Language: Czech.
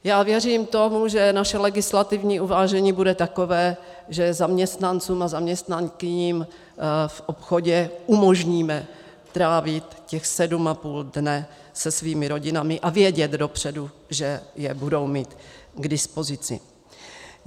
Já věřím tomu, že naše legislativní uvážení bude takové, že zaměstnancům a zaměstnankyním v obchodě umožníme trávit těch sedm a půl dne se svými rodinami a vědět dopředu, že je budou mít k dispozici.